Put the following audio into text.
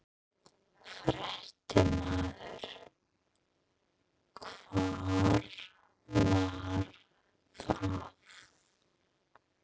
Fréttamaður: Hvar var það?